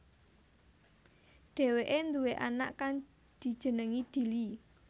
Dheweké duwé anak kang dijenengi Dili